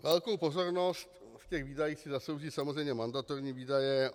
Velkou pozornost v těch výdajích si zaslouží samozřejmě mandatorní výdaje.